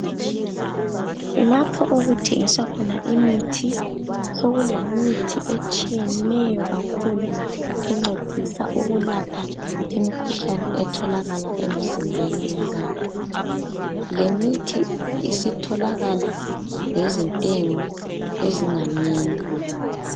Lapho okuthengiswa khona imithi, sokulemithi etshiyeneyo kakhulu encedisa ukulapha imikhuhlane etholakala emizimbeni yabantu .Lemithi isitholakala ngezintengo ezinganeno.